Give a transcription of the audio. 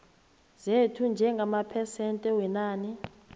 zethu njengamaphesente wenani